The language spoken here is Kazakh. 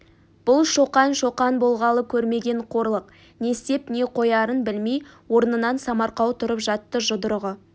бұл шоқан шоқан болғалы көрмеген қорлық не істеп не қоярын білмей орнынан самарқау тұрып жатты жұдырығы